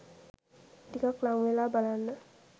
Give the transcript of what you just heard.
ටිකක් ළංවෙලා බලන්න !